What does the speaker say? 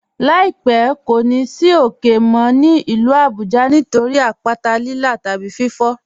"Láípẹ̀ kò ní ì sì ókè mó ní ilú Àbújá nítorí àpàtà Lílà tàbí fífò.